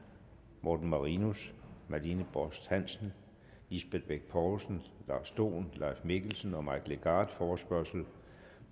morten marinus marlene borst hansen lisbeth bech poulsen lars dohn leif mikkelsen og mike legarth forespørgsel